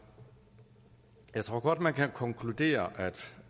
jeg tror godt at man kan konkludere at